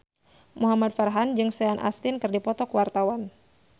Muhamad Farhan jeung Sean Astin keur dipoto ku wartawan